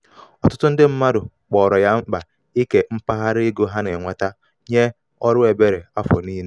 ọtụtụ ndị mmadụ kpọrọ ya mkpa ike mpaghara ego ha na-enweta nye ọrụ ebere afọ niile.